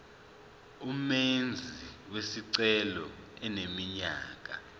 umenzi wesicelo eneminyaka